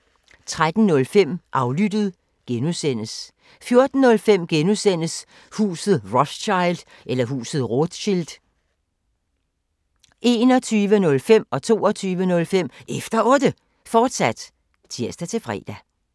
13:05: Aflyttet G) 14:05: Huset Rothschild (G) 21:05: Efter Otte, fortsat (tir-fre) 22:05: Efter Otte, fortsat (tir-fre)